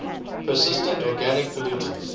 persistent organic pollutants